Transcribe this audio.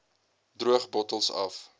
droog bottels af